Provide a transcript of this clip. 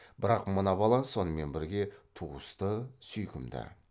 бірақ мына бала сонымен бірге туысты сүйкімді